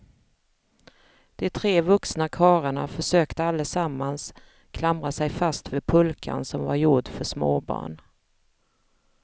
De tre vuxna karlarna försökte allesammans klamra sig fast vid pulkan som var gjord för småbarn.